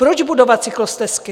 Proč budovat cyklostezky?